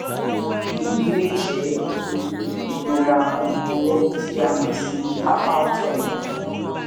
èyí lè jẹ nítorí ìrora ọrùn ọwọ tí a mọ sí carpal tunnel